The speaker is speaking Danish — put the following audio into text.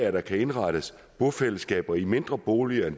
at der kan indrettes bofællesskaber i mindre boliger